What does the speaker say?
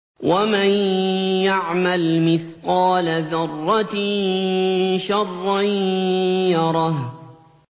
وَمَن يَعْمَلْ مِثْقَالَ ذَرَّةٍ شَرًّا يَرَهُ